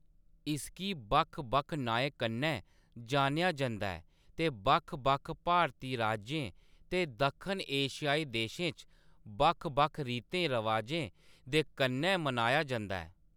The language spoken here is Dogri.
इसगी बक्ख-बक्ख नाएं कन्नै जानेआ जंदा ऐ ते बक्ख-बक्ख भारती राज्यें ते दक्खन एशियाई देशें च बक्ख-बक्ख रीतें-रवाजें दे कन्नै मनाया जंदा ऐ।